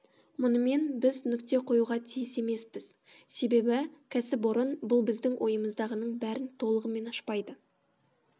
мұнымен біз нүкте қоюға тиіс емеспіз себебі кәсіпорын бұл біздің ойымыздағының бәрін толығымен ашпайды